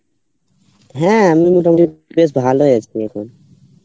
হ্যাঁ আমি মোটামটি বেশ ভালো আছি এখন